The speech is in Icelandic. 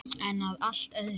En að allt öðru!